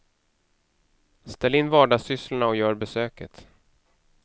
Ställ in vardagssysslorna och gör besöket.